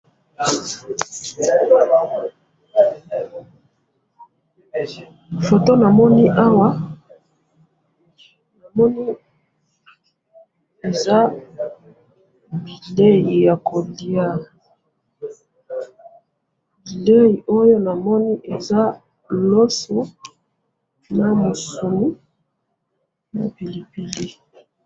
Photo namoni awa, namoni eza bilei ya ko lia ,bilei oyo namoni eza loso na musuni na pilipili